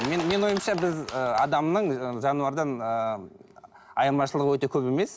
мен менің ойымша біз ы адамның жануардан ыыы айырмашылығы өте көп емес